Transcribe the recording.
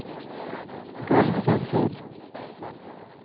golvventil